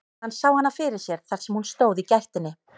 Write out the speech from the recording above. Hann sá hana fyrir sér þar sem hún stóð í gættinni.